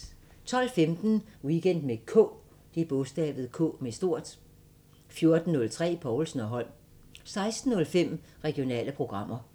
12:15: Weekend med K 14:03: Povlsen & Holm 16:05: Regionale programmer